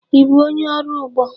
Ị bụ onye ọrụ ugbo?